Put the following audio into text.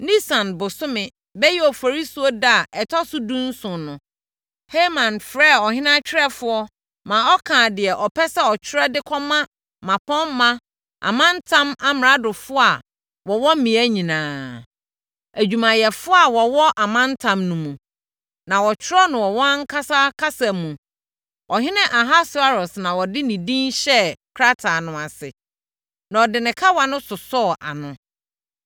Nisan bosome (bɛyɛ Oforisuo) da a ɛtɔ so dunson no, Haman frɛɛ ɔhene atwerɛfoɔ ma ɔkaa deɛ ɔpɛ sɛ ɔtwerɛ de kɔma mmapɔmma, amantam amradofoɔ a wɔwɔ mmea nyinaa, adwumayɛfoɔ a wɔwɔ amantam no mu, ma wɔtwerɛɛ no wɔ wɔn ankasa kasa mu. Ɔhene Ahasweros na wɔde ne din hyɛɛ nkrataa no ase, na wɔde ne kawa no sosɔɔ ano,